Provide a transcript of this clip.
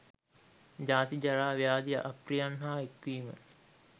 ජාති, ජරා, ව්‍යාධි, අප්‍රියයන් හා එක්වීම